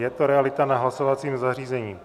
Je to realita na hlasovacím zařízení.